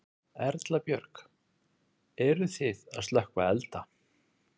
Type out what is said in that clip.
Erla Björg: Eruð þið að slökkva elda?